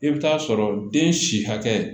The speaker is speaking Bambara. I bɛ taa sɔrɔ den si hakɛ